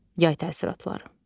Yay təəssüratları.